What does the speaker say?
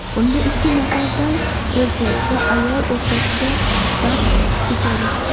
Unda ikki nafardan erkak va ayol o‘rtasida bahs kechadi.